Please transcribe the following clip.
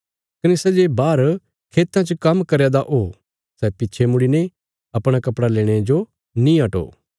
कने सै जे बाहर खेतां च काम्म करया दा ओ सै पिच्छे मुड़ीने अपणा कपड़ा लेणे जो नीं हटो